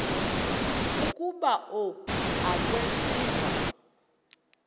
ukuba oku akwenziwa